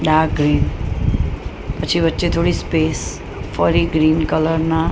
dark green પછી વચ્ચે થોડી સ્પેસ ફરી ગ્રીન કલર ના--